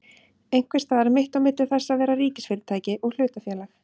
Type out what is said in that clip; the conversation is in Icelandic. Einhvers staðar mitt á milli þess að vera ríkisfyrirtæki og hlutafélag?